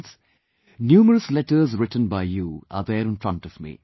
Friends, numerous letters written by you are there in front of me